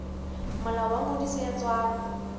molao wa ngodiso ya tswalo